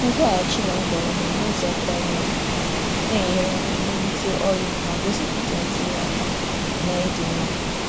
Ịkwalite nzaghachi n’ụzọ nkwanye ùgwù na-enyere aka mee ka ozi dị mma ma gosipụta ntinye aka na ịdị mma.